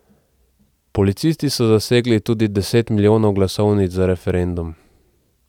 Policisti so zasegli tudi deset milijonov glasovnic za referendum.